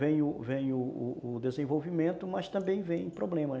Vem o vem o o desenvolvimento, mas também vem problemas.